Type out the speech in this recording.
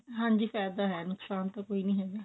ਹਾਂਜੀ ਫਾਇਦਾ ਹੈ ਨੁਕਸਾਨ ਤਾ ਕੋਈ ਨਹੀਂ ਹੈਗਾ